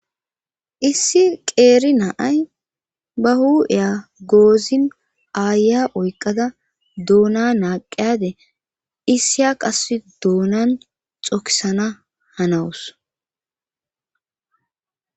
Issi qeeri naay ba hu7eya goozin aaya oyqada doona naaqeyade issiya qass doonan xokisana hanawus